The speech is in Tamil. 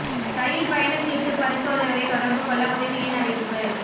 ரயில் பயணச் சீட்டு பரிசோதகரை தொடர்பு கொள்ள உதவி எண் அறிவிப்பு